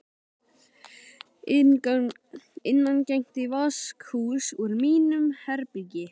Innangengt í vaskahús úr mínu herbergi.